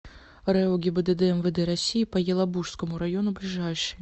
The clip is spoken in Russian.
рэо гибдд мвд россии по елабужскому району ближайший